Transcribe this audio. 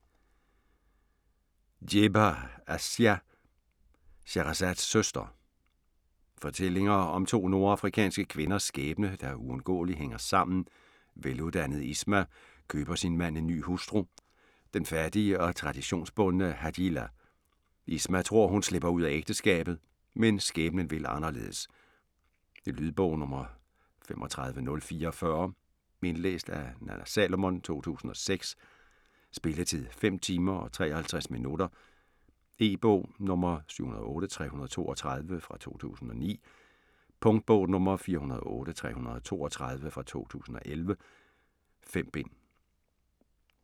Djebar, Assia: Shahrazads søster Fortællinger om to nordafrikanske kvinders skæbne, der uundgåeligt hænger sammen: veluddannede Isma køber sin mand en ny hustru, den fattige og traditionsbundne Hajila. Isma tror, hun slipper ud af ægteskabet, men skæbnen vil anderledes. Lydbog 35044 Indlæst af Nanna Salomon, 2006. Spilletid: 5 timer, 53 minutter. E-bog 708332 2009. Punktbog 408332 2011. 5 bind.